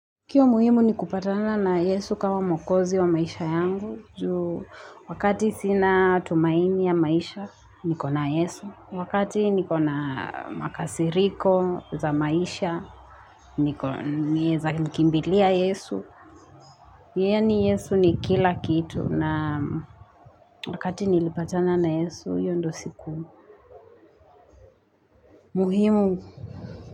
Kioo muhimu ni kupatana na Yesu kama mwokozi wa maisha yangu, Ju wakati sina tumaini ya maisha, niko na Yesu, wakati niko na makasiriko za maisha Naweza mkimbilia Yesu. Yaani Yesu ni kila kitu, na wakati nilipatana na Yesu hiyo ndiyo siku muhimu.